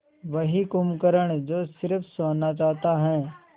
वही कुंभकर्ण जो स़िर्फ सोना चाहता है